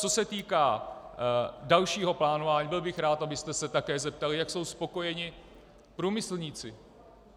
Co se týká dalšího plánování, byl bych rád, abyste se také zeptali, jak jsou spokojeni průmyslníci.